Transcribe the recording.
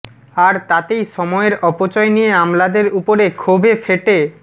আর তাতেই সময়ের অপচয় নিয়ে আমলাদের উপরে ক্ষোভে ফেটে